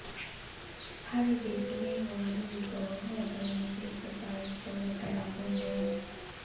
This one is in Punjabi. ਹਰ ਡਿਜ਼ਨੀ ਵਰਲਡ ਰਿਜੋਰਟ ਹੋਟਲ ਵਿੱਚ ਇੱਕ ਜਾਂ ਇੱਕ ਤੋਂ ਵੱਧ ਤਲਾਕ ਹੁੰਦੇ ਹਨ